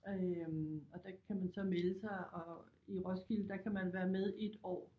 Øh og der kan man så melde sig og i Roskilde der kan man være med i et år